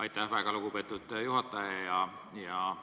Aitäh, väga lugupeetud juhataja!